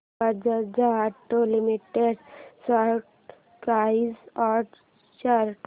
Bajaj auto limited stock price and chart